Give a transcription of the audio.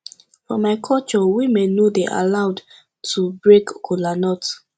for my culture women no dey allowed to break kola nut